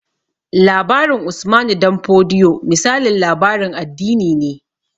Labarin Usmanu Damfodiyo misalin labarin addini ne